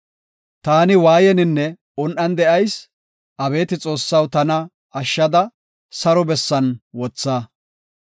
Ta waayeninne un7an de7ayis; abeeti Xoossaw, tana ashshada, saro bessan wotha.